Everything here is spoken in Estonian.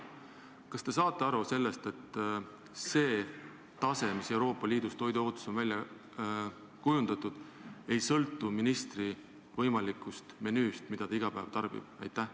Kas te saate aru sellest, et see tase, mis Euroopa Liidus on toiduohutuses välja kujundatud, ei sõltu ministri võimalikust menüüst, sellest, mida ta iga päev tarbib?